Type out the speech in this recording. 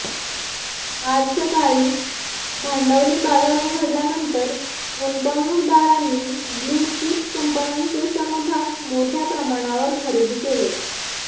आज सकाळी भांडवली बाजार उघडल्यानंतर गुंतवणुकदारांनी ब्ल्यू चीप कंपन्यांचे समभाग मोठ्याप्रमाणावर खरेदी केले